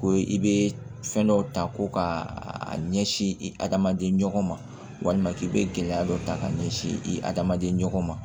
Ko i bɛ fɛn dɔw ta ko ka a ɲɛsin i adamaden ɲɔgɔn ma walima k'i bɛ gɛlɛya dɔ ta ka ɲɛsin i hadamaden ɲɔgɔn ma